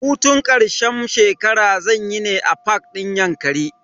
Hutun karshen shekara zanyi ne a fak din yankari.